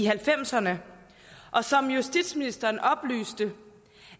halvfemserne og som justitsministeren oplyste